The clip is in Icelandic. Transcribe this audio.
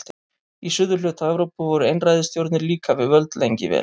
Í suðurhluta Evrópu voru einræðisstjórnir líka við völd lengi vel.